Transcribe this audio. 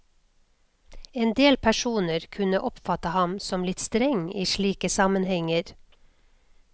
Endel personer kunne oppfatte ham som litt streng i slike sammenhenger.